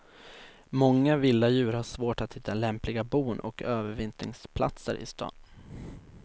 Många vilda djur har svårt att hitta lämpliga bon och övervintringsplatser i stan.